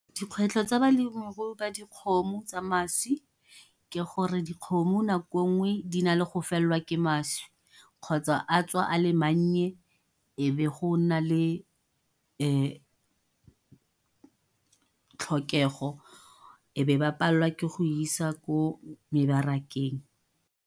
Dikgwetlho tsa balemirui ba dikgomo tsa mašwi, ke gore dikgomo nako e nngwe di na le go felelwa ke mašwi, kgotsa a tswa a le mannye. Ebe go nna le tlhokego, e be ba palelwa ke go isa ko mebarakeng.